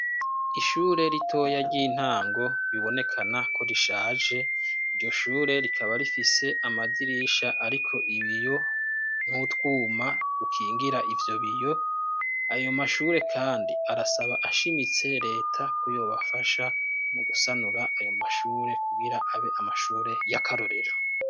Ishure ritoya ry'intango bibonekana ko rishaje iryo shure rikaba rifise amadirisha, ariko ibiyo mutwuma ukingira ivyo biyo ayo mashure, kandi arasaba ashimitse leta kuyobafasha mu gusanura ayo mashure kugira abe amashure re yakarorira.